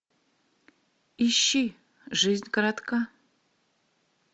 ищи жизнь коротка